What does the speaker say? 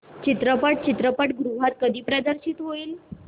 चित्रपट चित्रपटगृहात कधी प्रदर्शित होईल